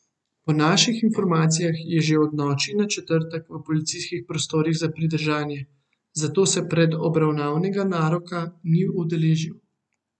Po naših informacijah je že od noči na četrtek v policijskih prostorih za pridržanje, zato se predobravnavnega naroka ni udeležil.